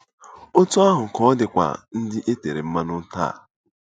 Otú ahụ ka ọ dịkwa ndị e tere mmanụ taa.